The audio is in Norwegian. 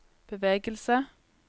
bevegelse